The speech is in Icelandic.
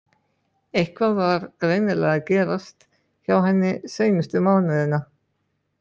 Eitthvað var greinilega að gerast hjá henni seinustu mánuðina.